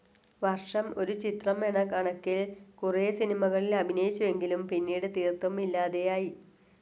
വർഷം ഒരു ചിത്രം എന്ന കണക്കിൽ കുറേ സിനിമകളിൽ അഭിനയിച്ചുവെങ്കിലും പിന്നീട് തീർത്തും ഇല്ലാതെയായി.